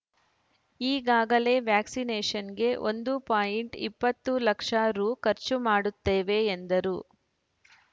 ಈಗಾಗಲೇ ವ್ಯಾಕ್ಸಿನೇಷನ್‌ಗೆ ಒಂದು ಪಾಯಿಂಟ್ ಇಪ್ಪತ್ತು ಲಕ್ಷ ರೂ ಖರ್ಚು ಮಾಡುತ್ತೇವೆ ಎಂದರು